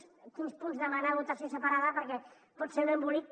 de quins punts demanar votació separada perquè pot ser un embolic